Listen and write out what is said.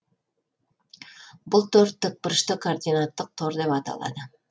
бұл тор тікбүрышты координаттық тор деп аталады